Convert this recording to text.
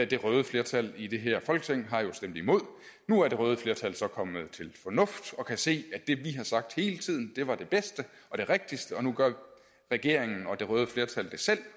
det røde flertal i det her folketing har jo stemt imod nu er det røde flertal så kommet til fornuft og kan se at det vi har sagt hele tiden var det bedste og det rigtigste og nu gør regeringen og det røde flertal det selv